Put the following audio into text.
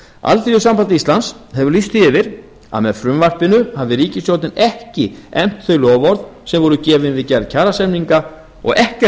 alþýðusamband íslands hefur lýst því yfir að með frumvarpinu hafi ríkisstjórnin ekki efnt þau loforð sem voru gefin við gerð kjarasamninga og ekkert